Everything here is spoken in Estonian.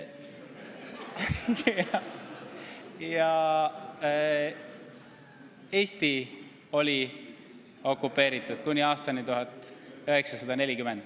Ja Eesti oli okupeeritud kuni aastani 1940.